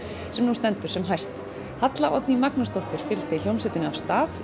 sem nú stendur sem hæst Halla Oddný Magnúsdóttir fylgdi hljómsveitinni af stað í